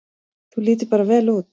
Þú lítur bara vel út!